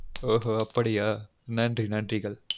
ஒஹொ அபடியா நன்றி நன்றிகள்.